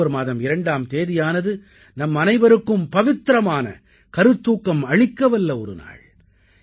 October மாதம் 2ஆம் தேதியானது நம்மனைவருக்கும் பவித்திரமான கருத்தூக்கம் அளிக்கவல்ல ஒரு நாள்